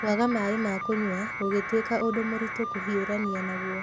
Kwaga maaĩ maĩ ma kũnyua gũgĩtuĩka ũndũ mũritũ kũhiũrania naguo.